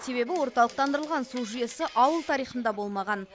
себебі орталықтандырылған су жүйесі ауыл тарихында болмаған